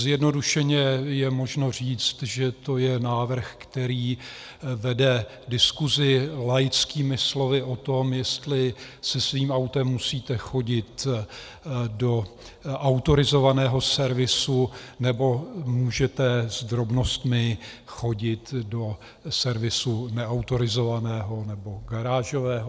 Zjednodušeně je možno říct, že to je návrh, který vede diskusi, laickými slovy, o tom, jestli se svým autem musíte chodit do autorizovaného servisu, nebo můžete s drobnostmi chodit do servisu neautorizovaného nebo garážového.